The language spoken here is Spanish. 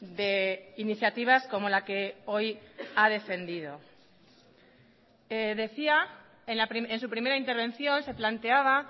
de iniciativas como la que hoy ha defendido decía en su primera intervención se planteaba